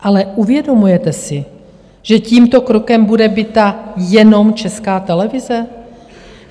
Ale uvědomujete si, že tímto krokem bude bita jenom Česká televize?